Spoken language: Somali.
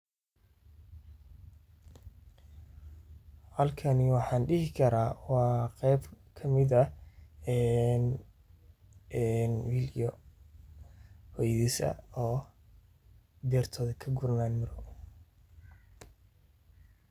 Halkani wxan dihikara waa qeb kamid ah en will iyo hoyadis ah oo nertoda kaguranayein miro.